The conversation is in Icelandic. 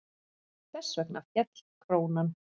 Þess vegna féll krónan.